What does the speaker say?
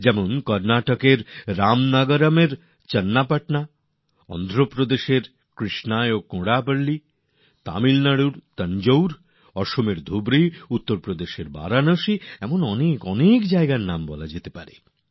যেমন কর্ণাটকের রামনগরমে চন্নাপটনা অন্ধ্রপ্রদেশের কৃষ্ণাতে কন্ডাপল্লি তামিলনাডুর তাঞ্জোর আসামের ধুবরী উত্তরপ্রদেশের বারানসী এমন অনেক জায়গা রয়েছে কত নাম গুনে বলা যেতে পারে